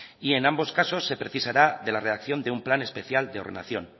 y en ambos caso se precisará de la redacción de un plan especial de ordenación